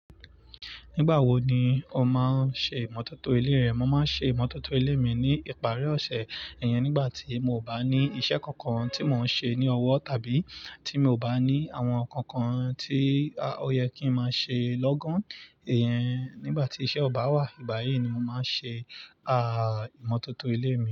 Nígbà wo ni o máa ń ṣe ìmọ̀tótó ilé rẹ? Mo máa ń ṣe ìmọ̀tótó ilé mi ní ìparí ọ̀sẹ̀. Iyẹn nígbà tí mo ò bá ní iṣẹ́ kankan tí mò ń ṣe ní ọwọ́ tàbí tí mi ò bá ní àwọn nǹkan kan tí ó yẹ kí ń máa ṣe lọ́gán. Iyẹn nígbà tí iṣẹ́ ọba wà. Ìgbáyi ni mo máa ń ṣe, à, ìmọ̀tótó ilé mi.